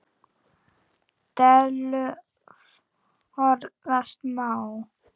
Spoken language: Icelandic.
Dellu forðast má.